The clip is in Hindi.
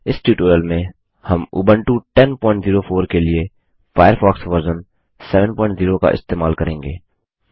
इस ट्यूटोरियल में हम उबंटू 1004 के लिए फ़ायरफ़ॉक्स वर्ज़न 70 का इस्तेमाल करेंगे